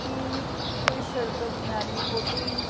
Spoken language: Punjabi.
ਇਹ ਕੋਈ ਸੜਕ ਕਰਨਾਲ ਲਈ ਫੋਟੋ ਈ--